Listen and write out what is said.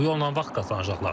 Bu yolla vaxt qazanacaqlar.